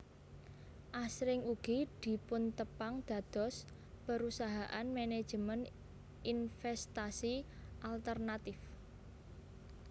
Asring ugi dipuntepang dados perusahaan manajemen investasi alternatif